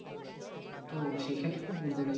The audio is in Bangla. তো সেই ক্ষেত্রে বলতে গেলে